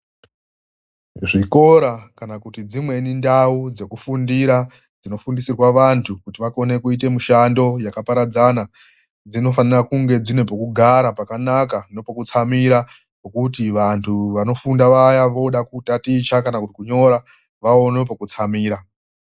Zvikora kana kuti dzimweni ndau dzekufundira dzinofundisirwa vantu kuti vakone kuite mishando yakaparadzana dzinofanira kunge dzine pokugara pakanaka nepokutsamira pokuti vantu vanofunda vaya vooda kutaticha kana kuti kunyora vaone pokutsamira.